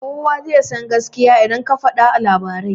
Kuwa zai san gaskiya idan aka fada a labarai